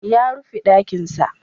Ya rufe ɗakinsa.